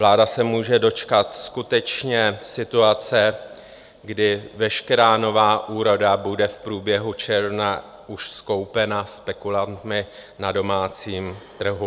Vláda se může dočkat skutečně situace, kdy veškerá nová úroda bude v průběhu června už skoupena spekulanty na domácím trhu.